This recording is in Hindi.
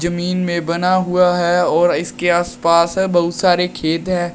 जमीन में बना हुआ है और इसके आस पास है बहुत सारे खेत है।